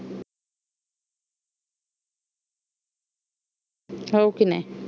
हो की नाही